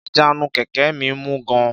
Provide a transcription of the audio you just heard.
Ìjánu kẹ̀kẹ́ mi mú gan-an